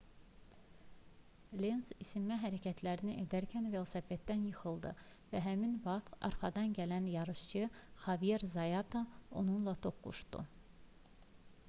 lenz isinmə hərəkətləri edərkən velosipedindən yıxıldı və həmin vaxt arxadan gələn yarışçı xavier zayata onunla toqquşdu